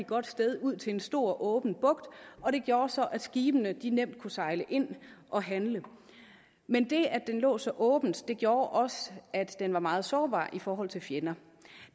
godt sted ud til en stor åben bugt og det gjorde så at skibene nemt kunne sejle ind og handle men det at den lå så åbent gjorde også at den var meget sårbar i forhold til fjender